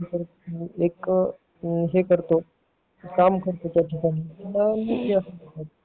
एक हे करतो काम करतो त्या ठिकाणी